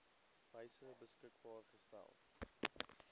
wyse beskikbaar gestel